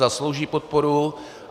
Zaslouží podporu.